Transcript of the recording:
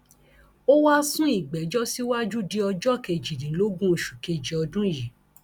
ó wáá sún ìgbẹjọ síwájú di ọjọ kejìdínlógún oṣù kejì ọdún yìí